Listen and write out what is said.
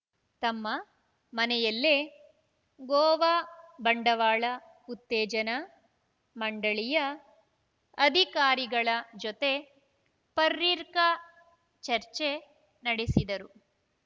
ತಮ್ಮ ಮನೆಯಲ್ಲೇ ಗೋವಾ ಬಂಡವಾಳ ಉತ್ತೇಜನಾ ಮಂಡಳಿಯ ಅಧಿಕಾರಿಗಳ ಜೊತೆ ಪರ್ರಿಕ ಚರ್ಚೆ ನಡೆಸಿದರು